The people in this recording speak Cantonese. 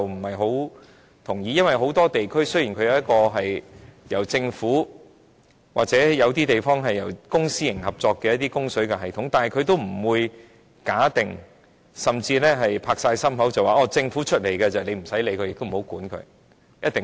很多地區雖然有由政府或由公私營合作營運的供水系統，但也不會假定或承諾，政府負責營運的系統便不用監管，並且一定安全。